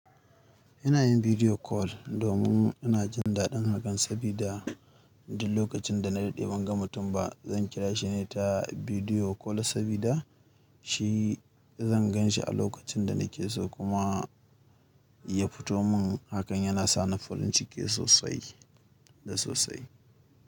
Ina yin video call domin ina jin daɗin hakan, sabida duk lokacin da na daɗe ban ga mutum ba, zan ƙira shi ne ta video call sabida shi zan gan shi a lokacin da na ke so kuma ya fito mun. Hakan yana sa ni farin ciki sosai da sosai.